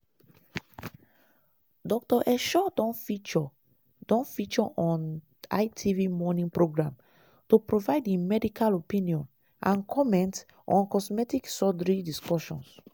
dr esho don feature don feature on itv morning programme to provide im medical opinion and comment on cosmetic surgery discussions.